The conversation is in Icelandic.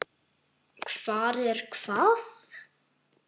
Hvar er hvað?